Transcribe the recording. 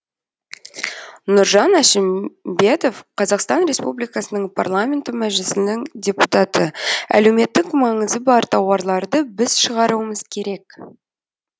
нұржан әшімбетов қазақстан республикасының парламенті мәжілісінің депутаты әлеуметтік маңызы бар тауарларды біз шығаруымыз керек